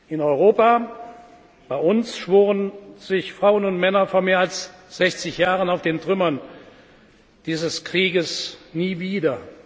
In Europa bei uns schworen sich Frauen und Männer vor mehr als 60 Jahren auf den Trümmern dieses Krieges Nie wieder.